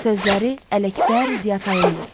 Sözləri Ələkbər Ziyatayındır.